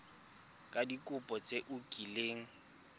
ka dikopo tse o kileng